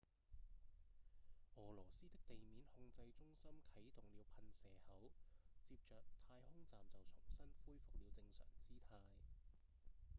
俄羅斯的地面控制中心啟動了噴射口接著太空站就重新恢復了正常姿態